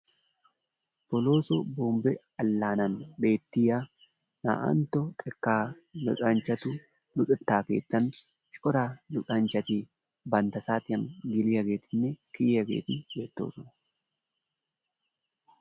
Bolooso Bombbe ambban beettiya 2ntto xekkaa luxanchchatu luxetta keettan cora luxanchchati bantta saatiyan geliyageetinne kiyiyageeti beettoosona.